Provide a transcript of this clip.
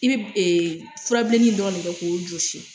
I bɛ ɛɛ furabilenin dɔrɔnw de de kɛ k'o jɔsi.